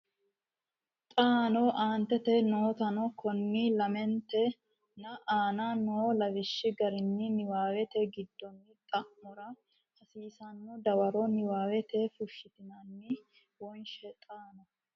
xaano aantete nootano konni lamente nna anna noo lawishshi garinni niwaawete giddonni xa mora hasiissanno dawaro niwaawete fushshitinanni wonshe xaano.